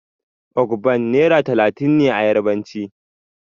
Ogbon' naira talatin ne a yarbanci.